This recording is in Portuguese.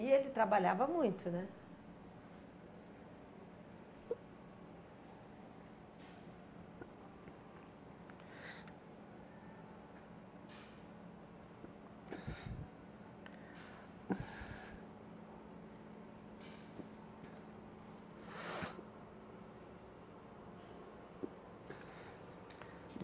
E ele trabalhava muito, né?